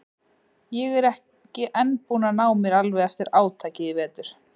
Er ekki enn búin að ná mér alveg eftir átakið í vetur.